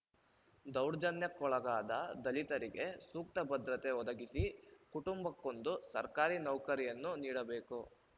ದೌರ್ಜನ್ಯಕ್ಕೊಳಗಾದ ದಲಿತರಿಗೆ ಸೂಕ್ತ ಭದ್ರತೆ ಒದಗಿಸಿ ಕುಟುಂಬಕ್ಕೊಂದು ಸರ್ಕಾರಿ ನೌಕರಿಯನ್ನು ನೀಡಬೇಕು